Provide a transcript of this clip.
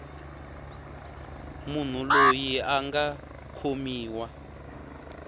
munhu loyi a nga khomiwa